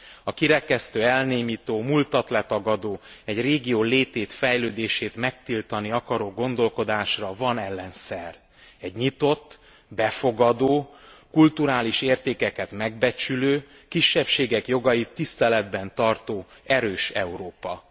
A kirekesztő, elnémító, múltat letagadó, egy régió létét, fejlődését megtiltani akaró gondolkodásra van ellenszer egy nyitott, befogadó, kulturális értékeket megbecsülő, kisebbségek jogait tiszteletben tartó, erős Európa.